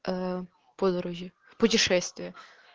ээ подруги путешествие